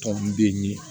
Tɔ min bɛ ye